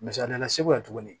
Misali la segu yan tuguni